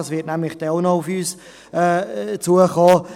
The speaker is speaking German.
Dies wird auch noch auf uns zukommen.